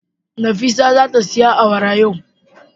Nafisa zata siya awara yau.